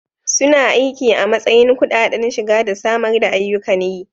Suna aiki a matsayin kudaden shiga da samar da ayyukan yi.